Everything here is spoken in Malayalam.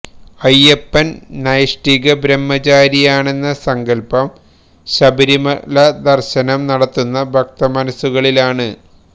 അയ്യപ്പന് നൈഷ്ഠിക ബ്രഹ്മചാരിയാണെന്ന സങ്കല്പം ശബരിമല ദര്ശനം നടത്തുന്ന ഭക്തമനസുകളിലാണ്